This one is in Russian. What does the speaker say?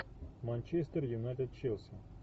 манчестер юнайтед челси